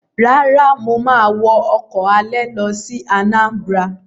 Rárá, mà á wọ ọkọ̀ alẹ̀ lọ sí Anambra.